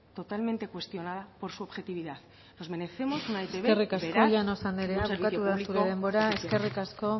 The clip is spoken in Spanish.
totalmente cuestionada por su objetividad nos merecemos una etb veraz y un servicio público eficiente eskerrik asko llanos andrea bukatu da zure denbora eskerrik asko